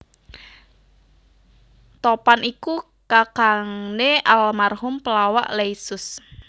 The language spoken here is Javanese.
Topan iku kakangné almarhum pelawak Leysus